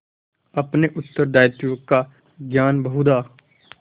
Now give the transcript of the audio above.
अपने उत्तरदायित्व का ज्ञान बहुधा